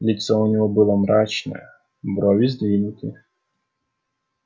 лицо у него было мрачное брови сдвинуты